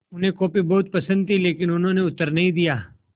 उन्हें कॉफ़ी बहुत पसन्द थी लेकिन उन्होंने उत्तर नहीं दिया